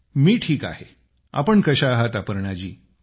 मी ठीक आहे आपण कशा आहात अपर्णा जी